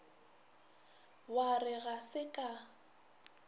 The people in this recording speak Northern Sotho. wa re ga se ka